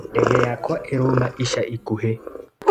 Ndege yakwa ĩrauma ica ikũhĩ.